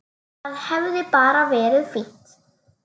Það hefði bara verið fínt.